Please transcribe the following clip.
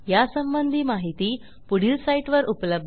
यासंबंधी माहिती पुढील साईटवर उपलब्ध आहे